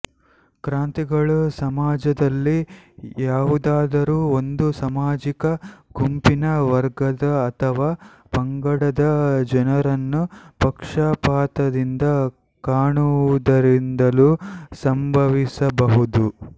ಕ್ರಾಂತಿಗಳು ಸಮಾಜದಲ್ಲಿ ಯಾವುದಾದರೂ ಒಂದು ಸಾಮಾಜಿಕ ಗುಂಪಿನ ವರ್ಗದ ಅಥವಾ ಪಂಗಡದ ಜನರನ್ನು ಪಕ್ಷಪಾತದಿಂದ ಕಾಣುವುದರಿಂದಲೂ ಸಂಭವಿಸಬಹುದು